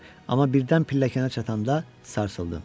Amma birdən pilləkənə çatanda sarsıldım.